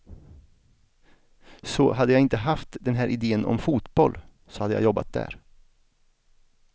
Så hade jag inte haft den här idén om fotboll så hade jag jobbat där.